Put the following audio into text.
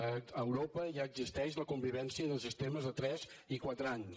a europa ja existeix la convivència de sistemes de tres i quatre anys